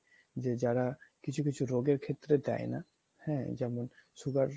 যে যারা কিছু কিছু রোগের ক্ষেত্রে দেয় না হ্যা যেমন sugar